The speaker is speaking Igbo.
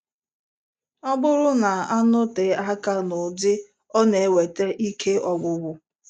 Ọ bụrụ na-anọte aka n'ụdị ọ na-eweta ike ọgwụgwụ.